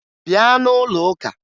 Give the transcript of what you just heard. Bịa n'ụlọ ụka!